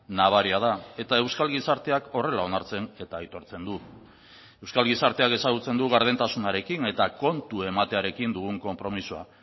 nabaria da eta euskal gizarteak horrela onartzen eta aitortzen du euskal gizarteak ezagutzen du gardentasunarekin eta kontu ematearekin dugun konpromisoa